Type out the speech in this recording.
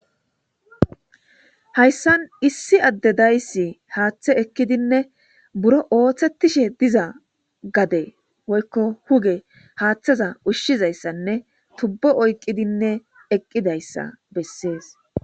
Hayssan issi adde dayssi haaththe ekkidinne buro ooththettishe diza gade woykko huge haaththeza ushshizayssanne tubbo oyqqidinne eqqidayssa bessees.